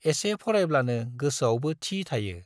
एसे फरायब्लानो गोसोआवबो थि थायो।